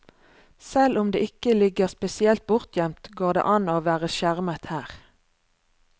Selv om det ikke ligger spesielt bortgjemt, går det an å være skjermet her.